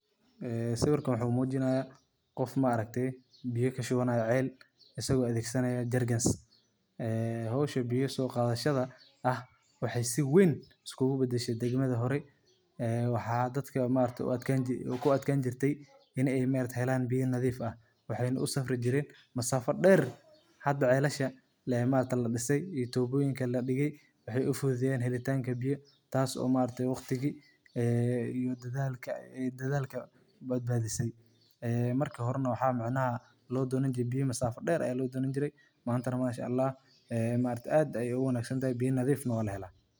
Sawirkaan wuxu mujinaya qof ma'aragtay biiya kaa shubaanayo ceel isago adegsanayo jerrycans ee howsha biyaa so qadashadaa aah waxey si weyn iskuguu badaashe degmadaa hoore ee waxa dadkaa ma'aragtay kuu atkaani jiirtay iney ma'aragtay helan biyaa nadiif aah waxeyna uu safrii jireen masaafo dheer hadaa celashaa ma'aragtay laa dhisaay iyo tuboyiinka laa dhigaay waxey uu fududeyen helitaanka biya taas oo ma'aragtay waqtigii ee iyo dadalkaa dadalkaa badbadisaay ee markaa horeena waxa micnaha lodonaan jiire biya masaafo dheer aya loodonan jiire mantanaa manshaalah ee ma'aragte aad ayey uu wanagsan tahay biyaa nadiif na walaa hela.